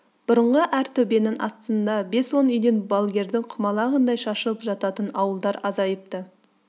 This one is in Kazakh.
бұрынғы әр төбенің астында бес-он үйден балгердің құмалағындай шашылып жататын ауылдар азайыпты